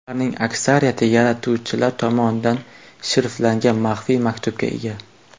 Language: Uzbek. Ularning aksariyati yaratuvchilar tomonidan shifrlangan maxfiy maktubga ega.